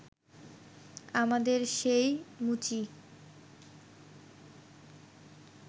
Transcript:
আমাদের সেই মুচি